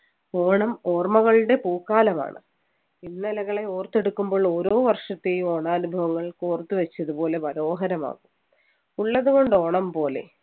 ഓണം ഓർമ്മകളുടെ പൂക്കാലമാണ് ഇന്നലെകളെ ഓർത്തെടുക്കുമ്പോൾ ഓരോ വർഷത്തെയും ഓണാനുഭവങ്ങൾ ഓർത്തുവച്ചതുപോലെ മനോഹരമാവും ഉള്ളതുകൊണ്ട് ഓണം പോലെ